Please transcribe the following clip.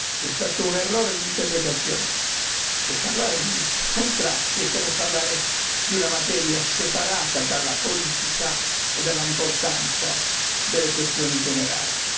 C'è stato un errore d'interpretazione che parlare di contratti sia come parlare di una materia separata dalla politica e dall'importanza delle questioni generali.